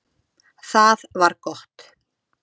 Það var gott